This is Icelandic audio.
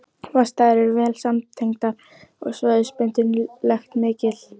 Vatnsæðar eru vel samtengdar og svæðisbundin lekt mikil.